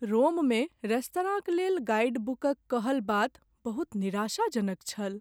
रोममे रेस्तराँक लेल गाइडबुकक कहल बात बहुत निराशाजनक छल ।